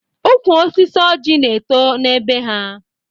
Ụkwụ osisi ọjị na eto n'be ha